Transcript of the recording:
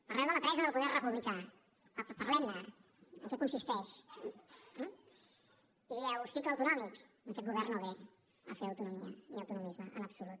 parleu de la pressa del poder republicà parlem ne en què consisteix i dieu cicle autonòmic aquest govern no ve a fer autonomia ni autonomisme en absolut